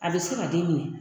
A bɛ se ka den minɛ